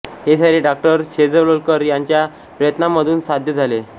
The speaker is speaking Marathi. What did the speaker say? हे सारे डॉ शेजवलकर यांच्या प्रयत्नांमधूनच साध्य झाले